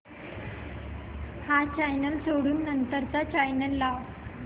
हा चॅनल सोडून नंतर चा चॅनल लाव